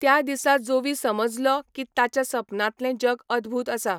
त्या दिसा जोवी समजलो की ताच्या सपनांतले जग अदभूत आसा.